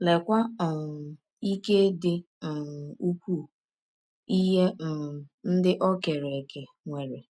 Leekwa um ike dị um ụkwụụ ihe um ndị ọ kere eke nwere!